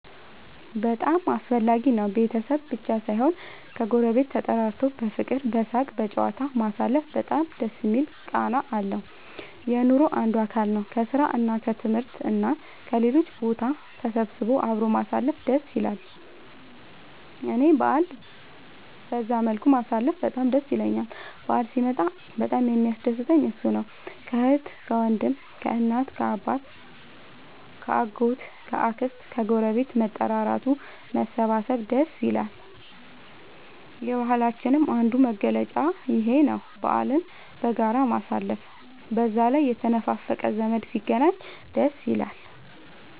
በጣም አስፈላጊ ነው ቤተሰብ ብቻ ሳይሆን ከ ጎረቤት ተጠራርቶ በፍቅር በሳቅ በጨዋታ ማሳለፉ በጣም ደስ የሚል ቃና አለው። የኑሮ አንዱ አካል ነው። ከስራ እና ከትምህርት እና ከሌሎችም ቦታ ተሰብስቦ አብሮ ማሳለፍ ደስ ይላል እኔ በአልን በዛ መልኩ ማሳለፍ በጣም ደስ ይለኛል በአል ሲመጣ በጣም የሚያስደስተኝ እሱ ነው። ከአህት ከወንድም ከእናት ከአባት ከ አጎት ከ አክስት ከግረቤት መጠራራቱ መሰባሰብ ደስ ይላል። የባህላችንም አንዱ መገለጫ ይኽ ነው በአልን በጋራ ማሳለፍ። በዛ ላይ የተነፋፈቀ ዘመድ ሲገናኝ ደስ ይላል